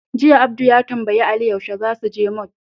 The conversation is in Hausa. Jiya, Abdu ya tambayi Ali yaushe za su je mol.